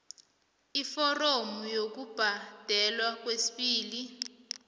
iforomo lokubhadelwa kwesibili